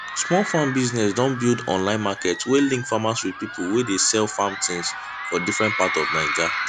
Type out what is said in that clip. small farm business don build online market wey link farmers with pipo wey de sell farm things for different part of naija